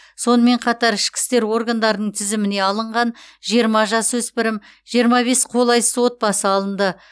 сонымен қатар ішкі істер органдарының тізіміне алынған жиырма жасөспірім жиырма бес қолайсыз отбасы алынды